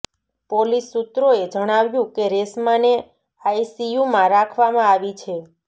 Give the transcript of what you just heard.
police સૂત્રોએ જણાવ્યું કે રેશમાને આઈસીયૂમાં રાખવામાં આવી છે